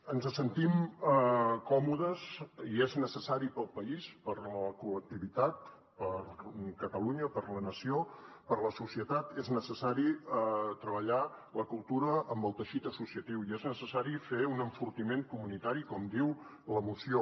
ens hi sentim còmodes i per al país per a la col·lectivitat per a catalunya per a la nació per a la societat és necessari treballar la cultura amb el teixit associatiu i és necessari fer hi un enfortiment comunitari com diu la moció